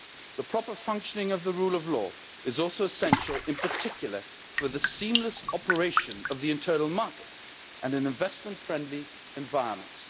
The proper functioning of the rule of law is also essential, in particular, for the seamless operation of the internal market and an investment-friendly environment.